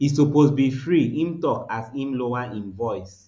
e suppose be free im tok as im lower im voice